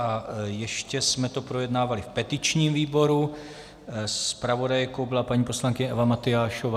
A ještě jsme to projednávali v petičním výboru, zpravodajkou byla paní poslankyně Eva Matyášová.